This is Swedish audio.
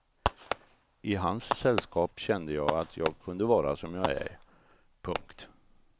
I hans sällskap kände jag att jag kunde vara som jag är. punkt